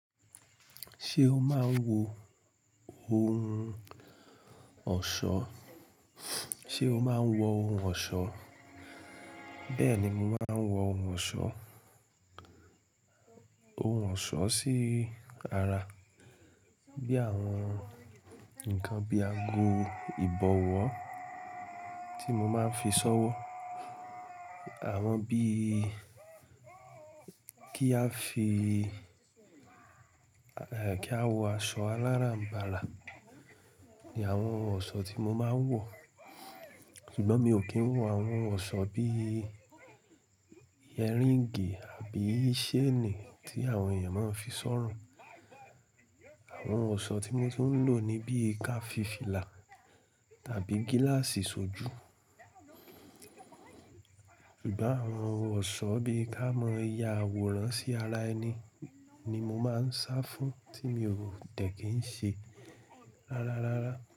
Ṣé o máa ń wọ ohun ọ̀ṣọ́? Ṣé o máa ń wọ ohun ọ̀ṣọ́? Bẹ́ẹ̀ ni, mo máa ń wọ ohun ọ̀ṣọ́. Ohun ọ̀ṣọ́ sí ara bí àwọn nǹkan bí àgọ ìbọ̀wọ́ tí mo máa ń fi ṣọ́wọ́. Àwọn bí kí a fi, ẹ́, kí a wọ aṣọ aláràǹbarà ni àwọn ọ̀ṣọ́ tí mo máa ń wọ̀. Ṣùgbọ́n mi ò kí ń wọ àwọn ọ̀ṣọ́ bí i earring àbí chain tí àwọn èèyàn máa ń fi sọ́rùn. Àwọn ohun ọ̀ṣọ́ tí mo tún ń lò ni bí i ká fí filà tàbí gíláàsì sójú. Ṣùgbọ́n àwọn ohun ọ̀ṣọ́ bí i ká mọ́ ya àwòrán sí ara ẹni ni mo máa ń sá fún tí mi ò tẹ̀ kí ń ṣe rárá rárá.